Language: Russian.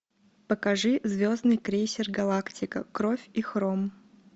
покажи звездный крейсер галактика кровь и хром